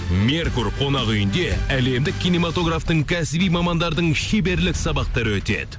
меркур қонақ үйінде әлемдік киноматографтың кәсіби мамандардың шеберлік сабақтары өтеді